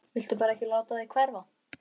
Viltu bara ekki láta þig hverfa?